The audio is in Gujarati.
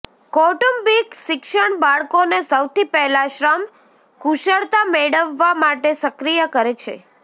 કૌટુંબિક શિક્ષણ બાળકોને સૌથી પહેલા શ્રમ કુશળતા મેળવવા માટે સક્રિય કરે છે